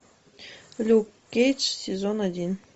люк кейдж сезон один